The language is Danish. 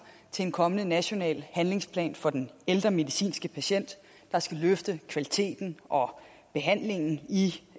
til en kommende national handlingsplan for den ældre medicinske patient der skal løfte kvaliteten og behandlingen i